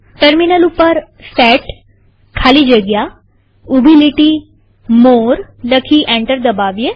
terminal ઉપર set ખાલી જગ્યા ઉભી લીટી મોરે લખી એન્ટર દબાવીએ